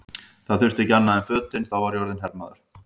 Það þurfti ekki annað en fötin, þá var ég orðinn hermaður!